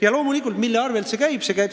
Ja loomulikult, mille arvel see käib?